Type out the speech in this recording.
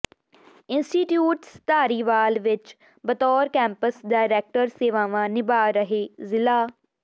institutes Dhariwal ਵਿੱਚ ਬਤੌਰ campus director ਸੇਵਾਵਾਂ ਨਿਭਾਅ ਰਹੇ ਜ਼ਿਲ੍ਹਾ